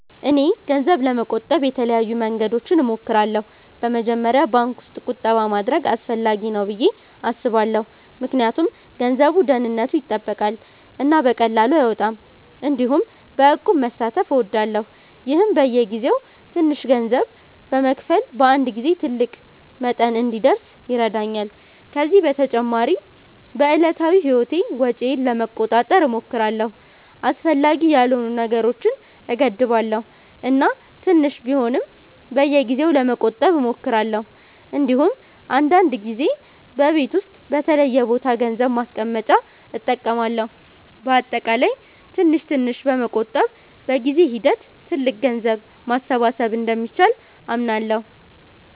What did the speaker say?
እኔ ገንዘብ ለመቆጠብ የተለያዩ መንገዶችን እሞክራለሁ። በመጀመሪያ ባንክ ውስጥ ቁጠባ ማድረግ አስፈላጊ ነው ብዬ አስባለሁ ምክንያቱም ገንዘቡ ደህንነቱ ይጠበቃል እና በቀላሉ አይወጣም። እንዲሁም በእቁብ መሳተፍ እወዳለሁ፣ ይህም በየጊዜው ትንሽ ገንዘብ በመክፈል በአንድ ጊዜ ትልቅ መጠን እንዲደርስ ይረዳኛል። ከዚህ በተጨማሪ በዕለታዊ ህይወቴ ወጪዬን ለመቆጣጠር እሞክራለሁ፣ አስፈላጊ ያልሆኑ ነገሮችን እገድባለሁ እና ትንሽ ቢሆንም በየጊዜው ለመቆጠብ እሞክራለሁ። እንዲሁም አንዳንድ ጊዜ በቤት ውስጥ በተለየ ቦታ ገንዘብ ማስቀመጫ እጠቀማለሁ። በአጠቃላይ ትንሽ ትንሽ በመቆጠብ በጊዜ ሂደት ትልቅ ገንዘብ ማሰባሰብ እንደሚቻል አምናለሁ።